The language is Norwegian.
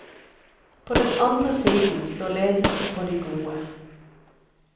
På den andre siden står ledelsen for de gode.